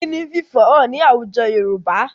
Ìkíni ń fi ìfẹ hàn ní àwùjọ Yorùbá